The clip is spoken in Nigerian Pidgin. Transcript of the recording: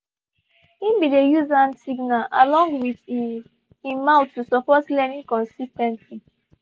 he been dey use hand signal along with he he mouth to support learning consis ten tly